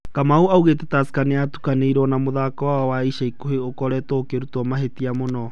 Kamau augite Tursker nĩyatukanĩirũo, no mũthako wao wa ica ikuhĩ ũkoretũo ukĩrutũo mahĩtia mũno.